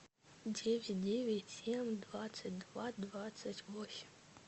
девять девять семь двадцать два двадцать восемь